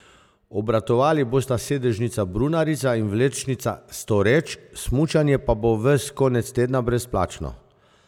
Obratovali bosta sedežnica Brunarica in vlečnica Storeč, smučanje pa bo ves konec tedna brezplačno.